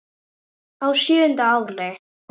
Á sjöunda ári